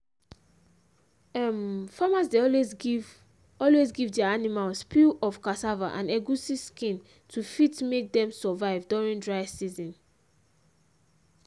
um farmers dey always give always give their animals peel of cassava and egusi skin to fit make dem survive during dry season